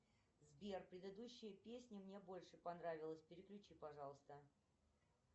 сбер предыдущая песня мне больше понравилась переключи пожалуйста